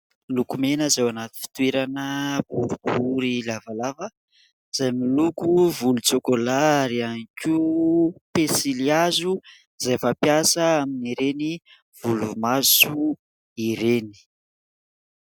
Lokomena izay ao anaty fitoerana boribory lavalava izay miloko volontsaokôla ary ihany koa pensily hazo izay fampiasa amin'ireny volo maso ireny.